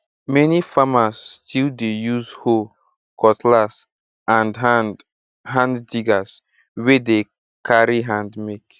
many farmers still dey use hoe cutlass and hand hand diggers wey dey carry hand make